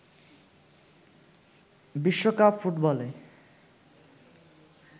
বিশ্বকাপ ফুটবলে